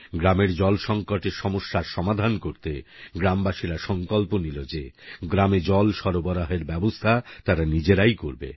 গ্রামের জল সংকটের সমস্যা সমাধান করতে গ্রামবাসীরা সংকল্প নিল যে গ্রামে জল সরবরাহের ব্যবস্থা তারা নিজেরাই করবে